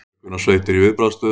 Björgunarsveitir í viðbragðsstöðu